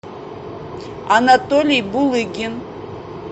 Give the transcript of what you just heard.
анатолий булыгин